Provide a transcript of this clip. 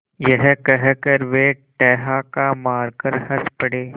यह कहकर वे ठहाका मारकर हँस पड़े